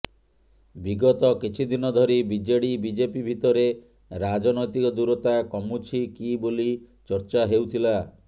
ବିଗତ କିଛିଦିନ ଧରି ବିଜେଡି ବିଜେପି ଭିତରେ ରାଜନୈତିକ ଦୂରତା କମୁଛି କି ବୋଲି ଚର୍ଚ୍ଚା ହେଉଥିଲା